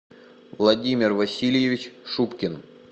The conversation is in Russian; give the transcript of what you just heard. владимир васильевич шубкин